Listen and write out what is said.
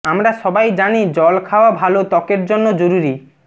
আমরা সবাই জানি জল খাওয়া ভালো ত্বকের জন্য জরুরি